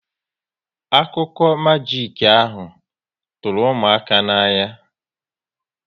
Akụkụ majik ahụ tụrụ ụmụaka n'anya